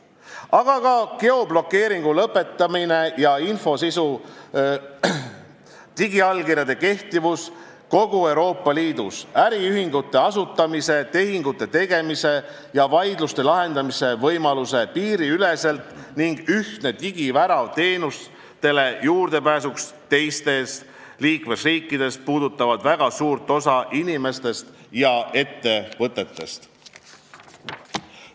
Aga ka geoblokeerimise lõpetamine ja infosisu kaasaskantavus, digiallkirjade kehtivus kogu Euroopa Liidus, äriühingute asutamise, tehingute tegemise ja vaidluste lahendamise võimalus piiriüleselt ning ühtne digivärav teenustele juurdepääsuks teises liikmesriigis puudutavad väga suurt osa inimestest ja ettevõtetest.